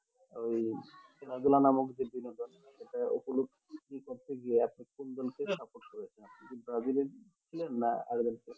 ওই খেলাধুলা নামক যে বিনোদন সেটা উপলভ করতে গিয়ে একটা কুন দলকে support করেছিলাম যে ব্রাজিল এ ছিলেন না আর্জেন্টিনা